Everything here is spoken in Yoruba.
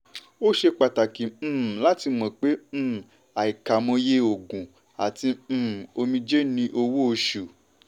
ó ṣe pàtàkì um láti mọ̀ pé um àkàìmọye òógùn àti um omijé ni owó-oṣù.